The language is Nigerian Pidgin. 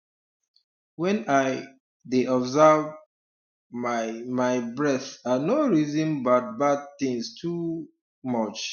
when i um dey observe um my my breath i no reason badbad tins too um much